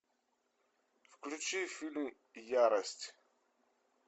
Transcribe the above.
включи фильм ярость